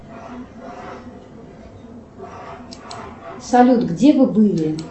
салют где вы были